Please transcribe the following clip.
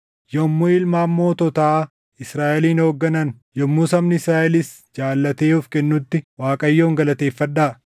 “Yommuu ilmaan moototaa Israaʼelin hoogganan, yommuu sabni Israaʼelis jaallatee of kennutti Waaqayyoon galateeffadhaa!